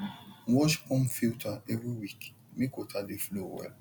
wash pump filter every week make water dey flow well